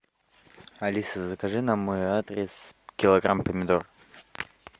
алиса закажи на мой адрес килограмм помидор